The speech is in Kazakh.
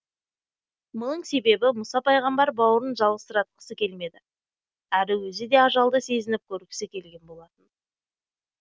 мұның себебі мұса пайғамбар бауырын жалғызсыратқысы келмеді әрі өзі де ажалды сезініп көргісі келген болатын